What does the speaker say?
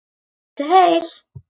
Njótið heil.